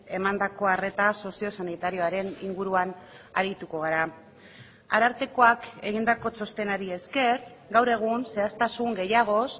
emandako arreta sozio sanitarioaren inguruan arituko gara arartekoak egindako txostenari esker gaur egun zehaztasun gehiagoz